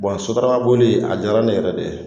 sotarama boli a diyara ne yɛrɛ de ye